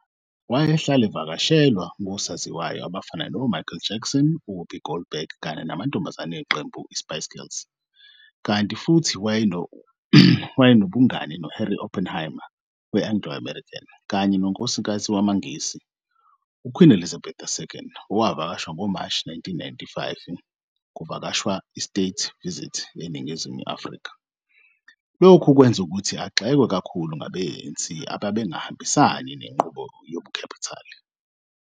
Wayehlala evakashelwa ngosaziwayo abafana no-Michael Jackson, uWhoopi Goldberg, kanye namantombazane eqembu le-Spice Girls, kanti futhi wabanobungani no-Harry Oppenheimer we-Anglo-American, kanye nonkosikazi wamanghisi u-Queen Elizabeth II oowavakasha ngoMashi 1995 kuvakasho lwe-state visit eNingizimu Afrika, lokhu kwenza ukuthi agxekwe kakhulu ngabe-ANC ababengahambisani nenqubo yobukhapitali.